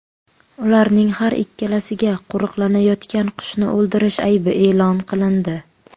Ularning har ikkalasiga qo‘riqlanayotgan qushni o‘ldirish aybi e’lon qilindi.